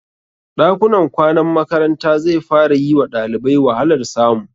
Ɗakunan kwanan makaranta zai fara yi wa ɗalibai wahalar samu.